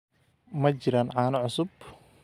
Ma jiraan caano cusub?